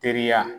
Teriya